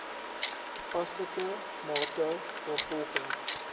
toepaslike mate waarvolgens